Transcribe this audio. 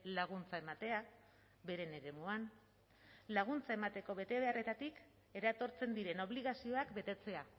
laguntza ematea beren eremuan laguntza emateko betebeharretatik eratortzen diren obligazioak betetzea